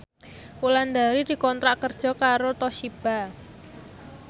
Wulandari dikontrak kerja karo Toshiba